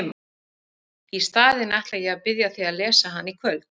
Í staðinn ætla ég að biðja þig að lesa hana í kvöld!